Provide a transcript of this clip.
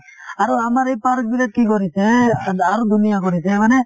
আৰু আমাৰ এই park বিলাক কি কৰিছে আ আৰু ধুনীয়া কৰিছে মানে